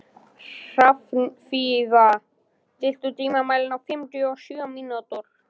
Hrafnfífa, stilltu tímamælinn á fimmtíu og sjö mínútur.